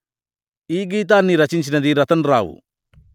ఈ గీతాన్ని రచించినది రతన్ రావు